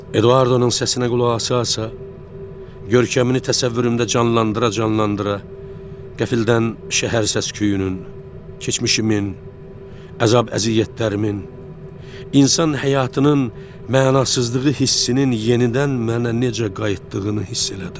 Eduardonun səsinə qulaq asa-asa, görkəmini təsəvvürümdə canlandıra-canlandıra qəfildən şəhər səs-küyünün, keçmişimin, əzab-əziyyətlərimin, insan həyatının mənasızlığı hissinin yenidən mənə necə qayıtdığını hiss elədim.